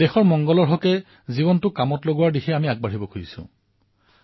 নিজৰ জীৱনক দেশহিতলৈ ৰূপান্তৰিত কৰাৰ দিশত আগবাঢ়িব বিচাৰিছো